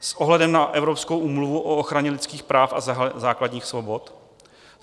- s ohledem na Evropskou úmluvu o ochraně lidských práv a základních svobod;